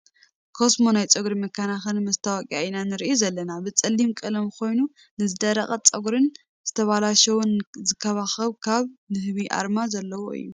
ኮስሞ ናይ ፀጉሪ መከናክኒ መስታወቅያ ኢና ንሪኢ ዘለና ብፀሊም ቀለም ኮይኑ ንዝደርቀ ፀጉሪን ዝተብላሸወን ዝንክባክብ ካብ ንህቢ ኣርማ ዘለዎ እዩ ።